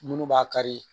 Munnu b'a kari